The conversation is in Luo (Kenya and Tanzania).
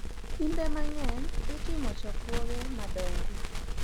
Kinde mang’eny, itimo chokruoge madongo,